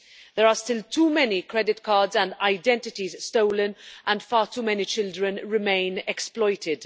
There are still too many credit cards and identities stolen and far too many children remain exploited.